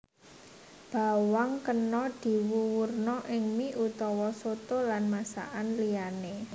Bawang kena diwuwurna ing mie utawa soto lan masakaan liyané